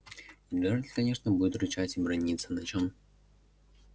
и джералд конечно будет рычать и браниться на чём